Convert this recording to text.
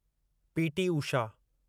P. T. Usha